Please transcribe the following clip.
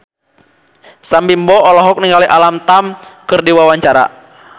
Sam Bimbo olohok ningali Alam Tam keur diwawancara